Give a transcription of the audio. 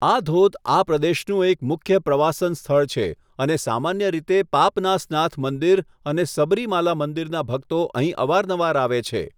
આ ધોધ આ પ્રદેશનું એક મુખ્ય પ્રવાસન સ્થળ છે અને સામાન્ય રીતે પાપનાસનાથ મંદિર અને સબરીમાલા મંદિરનાં ભક્તો અહીં અવારનવાર આવે છે.